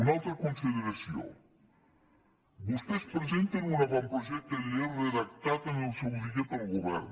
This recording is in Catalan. una altra consideració vostès presenten un avantprojecte de llei redactat en el seu dia pel govern